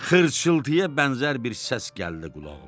Xırçıltıya bənzər bir səs gəldi qulağıma.